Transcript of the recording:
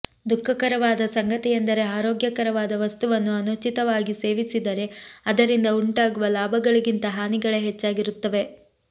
ದುಃಖಕರವಾದ ಸಂಗತಿಯೆಂದರೆ ಆರೋಗ್ಯಕರವಾದ ವಸ್ತುವನ್ನು ಅನುಚಿತವಾಗಿ ಸೇವಿಸಿದರೆ ಅದರಿಂದ ಉಂಟಾಗುವ ಲಾಭಗಳಿಗಿಂತ ಹಾನಿಗಳೇ ಹೆಚ್ಚಾಗಿರುತ್ತವೆ